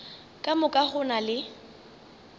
ka moka go na le